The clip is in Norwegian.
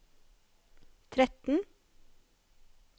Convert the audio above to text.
tretten